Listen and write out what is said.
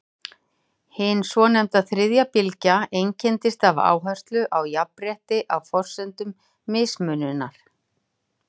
hin svonefnda „þriðja bylgja“ einkennist af áherslu á jafnrétti á forsendum mismunar